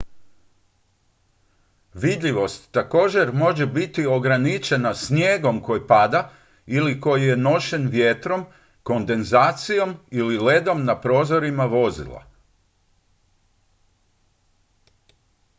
vidljivost također može biti ograničena snijegom koji pada ili koji je nošen vjetrom kondenzacijom ili ledom na prozorima vozila